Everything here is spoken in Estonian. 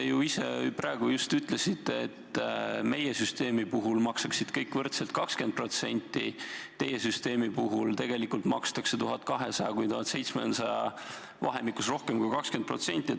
Te ju ise praegu just ütlesite, et meie süsteemi puhul maksaksid kõik võrdselt 20%, teie süsteemi puhul tegelikult makstakse vahemikus 1200–1700 rohkem kui 20%.